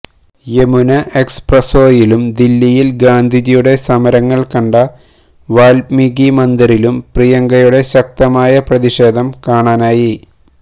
യമുന എക്സ്പ്രസ്വേയിലും ദില്ലിയിൽ ഗാന്ധിജിയുടെ സമരങ്ങൾ കണ്ട വാൽമീകി മന്ദിറിലും പ്രിയങ്കയുടെ ശക്തമായ പ്രതിഷേധം കാണാനായി